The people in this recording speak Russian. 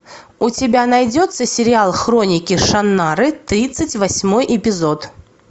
у тебя найдется сериал хроники шаннары тридцать восьмой эпизод